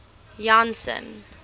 janson